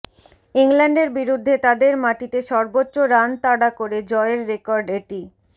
ইংল্যান্ডের বিরুদ্ধে তাদের মাটিতে সর্বোচ্চ রানতাড়া করে জয়ের রেকর্ড এটি